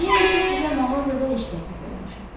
Deyərik ki, sizə mağazada iş təklif eləmişəm.